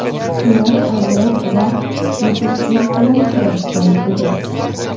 Ular uzoq vaqt bepushtlik bilan kurashgan edi.